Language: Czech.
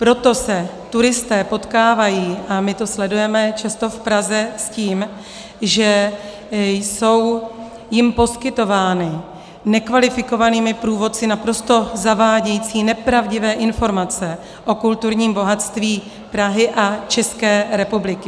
Proto se turisté potkávají - a my to sledujeme často v Praze - s tím, že jsou jim poskytovány nekvalifikovanými průvodci naprosto zavádějící, nepravdivé informace o kulturním bohatství Prahy a České republiky.